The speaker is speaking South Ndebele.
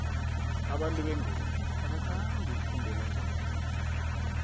abantu bengubo abathandi ukufundela zamarhwebo